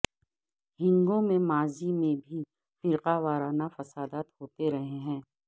ہنگو میں ماضی میں بھی فرقہ وارانہ فسادات ہوتے رہے ہیں